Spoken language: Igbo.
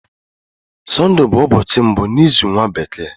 Sunday bu ubochi mbu n'izu nwa bekee.